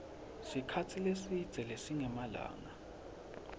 sikhatsi lesidze lesingemalanga